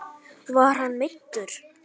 Var hann meiddur?